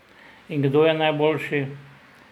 In kdo je najboljši?